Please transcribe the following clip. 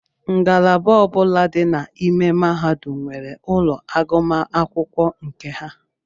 Ngalaba ọbula dị n'ime mahadum nwere ụlọ agụmakwụkwọ nke ha.